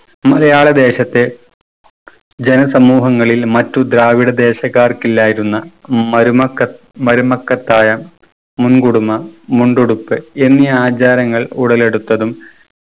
മലയാള ദേശത്തെ ജന സമൂഹങ്ങളിൽ മറ്റു ദ്രാവിഡ ദേശക്കാർക്കില്ലായിരുന്ന മരുമക്കത് മരുമക്കത്തായം മുൻകുടുമ മുണ്ടുടുപ്പ് എന്നീ ആചാരങ്ങൾ ഉടലെടുത്തതും